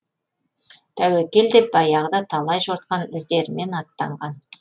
тәуекел деп баяғыда талай жортқан іздерімен аттанған